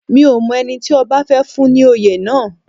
Mi ò mọ ẹni tí ọba fẹ́ fún ní oyè náà